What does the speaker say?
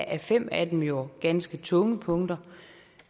er fem af dem jo ganske tunge punkter